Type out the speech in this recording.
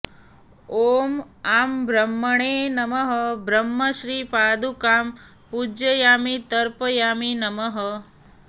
ॐ आं ब्रह्मणे नमः ब्रह्मश्रीपादुकां पूजयामि तर्पयामि नमः